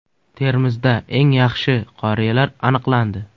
Termizda eng yaxshi qoriyalar aniqlandi.